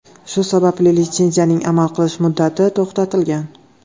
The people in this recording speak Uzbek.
Shu sababli litsenziyaning amal qilish muddati to‘xtatilgan.